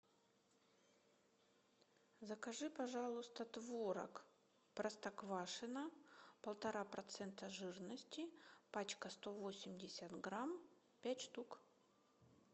закажи пожалуйста творог простоквашино полтора процента жирности пачка сто восемьдесят грамм пять штук